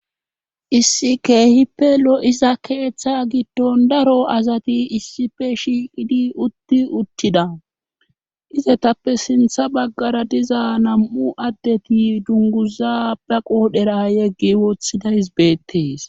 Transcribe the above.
issi keehippe lo7iza keeththa gitton daro azati issife shiiqidi utti uttida izetappe sintha baggara diza nam7u addeti dunguza ba qoodhera yeggi wothidays beettees